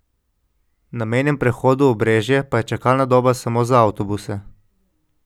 Na mejnem prehodu Obrežje pa je čakalna doba samo za avtobuse.